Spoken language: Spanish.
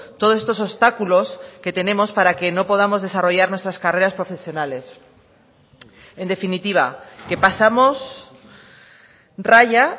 todos estos obstáculos que tenemos para que no podamos desarrollar nuestras carreras profesionales en definitiva que pasamos raya